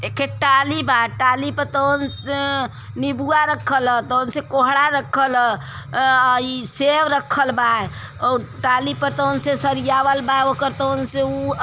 एकठे टाली बा टाली पे उन् स् अ निबुला रखलव तो उनसा कोंहड़ा रखल ह अ ई सेक रखलव बा अऊर टाली पर तो उन से सरियाला बा ओकर तुन उन्स --